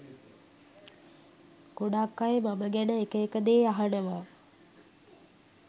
ගොඩක් අය මම ගැන එක එක දේ අහනවා